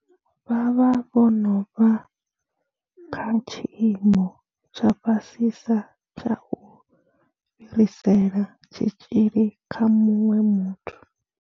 Vha vha vho no vha kha tshiimo tsha fhasisa tsha u fhirisela tshitzhili kha muṅwe muthu.